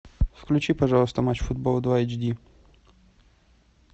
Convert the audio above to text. включи пожалуйста матч футбол два эйч ди